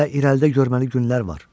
Hələ irəlidə görməli günlər var.